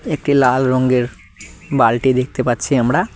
একটি লাল রঙ্গের বালটি দেখতে পাচ্ছি আমরা।